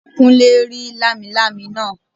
Kúnlé rí lámilámi náà